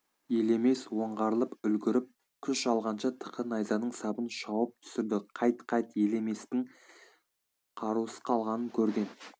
елемес оңғарылып үлгіріп күш алғанша тықы найзаның сабын шауып түсірді қайт қайт елеместің қарусыз қалғанын көрген